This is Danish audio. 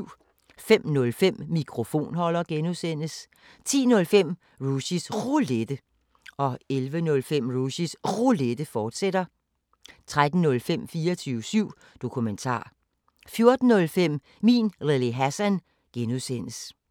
05:05: Mikrofonholder (G) 10:05: Rushys Roulette 11:05: Rushys Roulette, fortsat 13:05: 24syv Dokumentar 14:05: Min Lille Hassan (G)